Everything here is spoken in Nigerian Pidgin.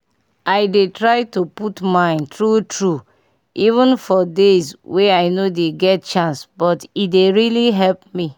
i dey try to put mind tru tru even for days wey i no dey get chance but e dey really help me